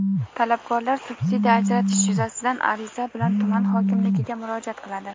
Talabgorlar subsidiya ajratish yuzasidan ariza bilan tuman hokimligiga murojaat qiladi.